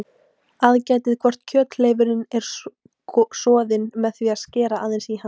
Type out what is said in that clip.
Aðgætið hvort kjöthleifurinn er soðinn með því að skera aðeins í hann.